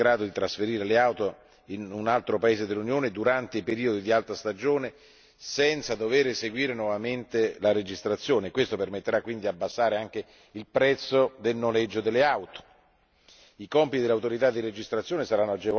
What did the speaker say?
Anche le società di autonoleggio saranno in grado di trasferire le auto in un altro paese dell'Unione durante i periodi di alta stagione senza dover eseguire nuovamente la registrazione e questo permetterà di abbassare il prezzo del noleggio delle auto.